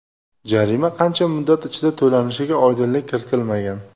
Jarima qancha muddat ichida to‘lanishiga oydinlik kiritilmagan.